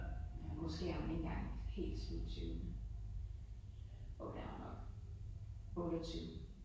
Måske er hun ikke engang helt slut tyverne. Jo det er hun nok. 28